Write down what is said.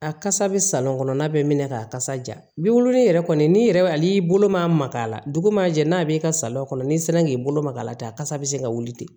A kasa bɛ salon kɔnɔnna bɛ minɛ kasa ja bi woloma yɛrɛ kɔni n'i yɛrɛ ale bolo maka la dugu ma jɛ n'a b'i ka salɔn kɔnɔ n'i sera k'i bolo magala ten a kasa bɛ se ka wuli ten